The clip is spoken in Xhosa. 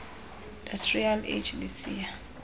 industrial age lisiya